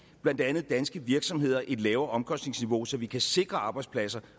blandt andet danske virksomheder et lavere omkostningsniveau så vi kan sikre arbejdspladser